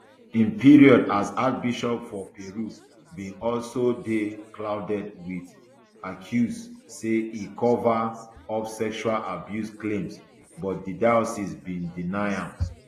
im period as archbishop for peru bin also dey clouded wit accuse say e cover up sexual abuse claims but di diocese bin deny am